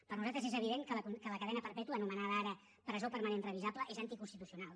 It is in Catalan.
per nosaltres és evident que la cadena perpètua anomenada ara presó permanent revisable és anticonstitucional